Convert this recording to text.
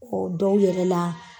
O dɔw yɛrɛ la.